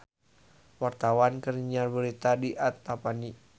Wartawan keur nyiar berita di Antapani